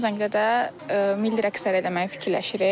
Son zəngdə də milli rəqsləri eləməyi fikirləşirik.